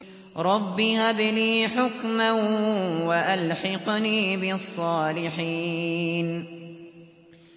رَبِّ هَبْ لِي حُكْمًا وَأَلْحِقْنِي بِالصَّالِحِينَ